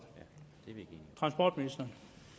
transportministeren